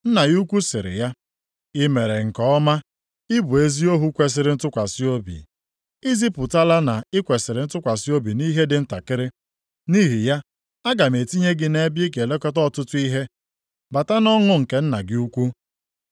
“Nna ya ukwu sịrị ya, ‘I mere nke ọma. Ị bụ ezi ohu kwesiri ntụkwasị obi. I zipụtala na i kwesiri ntụkwasị obi nʼihe dị ntakịrị. Nʼihi ya aga m etinye gị nʼebe ị ga-elekọta ọtụtụ ihe. Bata nʼọṅụ nke nna gị ukwu.’